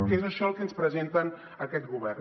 que és això el que ens presenta aquest govern